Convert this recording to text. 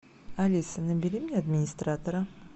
алиса набери мне администратора